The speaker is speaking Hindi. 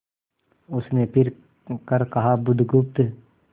उसने फिर कर कहा बुधगुप्त